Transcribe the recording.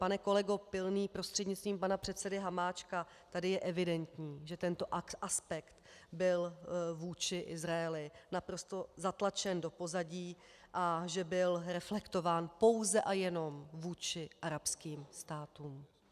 Pane kolego Pilný prostřednictvím pana předsedy Hamáčka, tady je evidentní, že tento aspekt byl vůči Izraeli naprosto zatlačen do pozadí a že byl reflektován pouze a jenom vůči arabským státům.